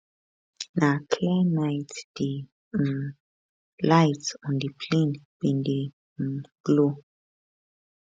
na clear night di um lights on di plane bin dey um glow